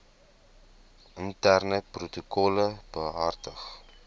interne protokolle behartig